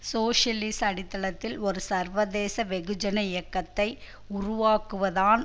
சோசியலிச அடித்தளத்தில் ஒரு சர்வதேச வெகுஜன இயக்கத்தை உருவாக்குவதான்